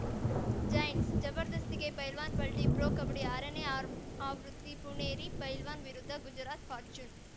Giants ಜಬರ್‌ದಸ್ತಿಗೆ ಪಲ್ಟನ್‌ ಪಲ್ಟಿ pro Kabaddi ಆರನೇ ಆ ಆವೃತ್ತಿ ಪುಣೇರಿ ಪಲ್ಟನ್‌ ವಿರುದ್ಧ ಗುಜರಾತ್‌ ಫಾರ್ಚೂನ್‌